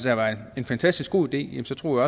at være en fantastisk god idé så tror